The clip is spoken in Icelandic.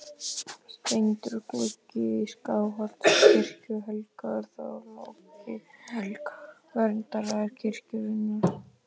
Steindur gluggi í Skálholtskirkju, helgaður Þorláki helga, verndara kirkjunnar.